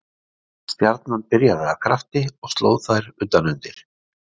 Stjarnan byrjaði af krafti og sló þær utan undir.